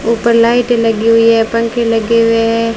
ऊपर लाइटें लगी हुई है पंखे लगे हुए है।